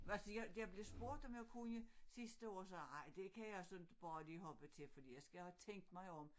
Hvad siger jeg blev spurgt om jeg kunne sidste år sagde jeg ej det kan jeg inte sådan bare lige hoppe til for jeg skal have tænkt mig om